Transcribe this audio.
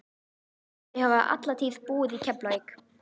Þau hafa alla tíð búið í Keflavík.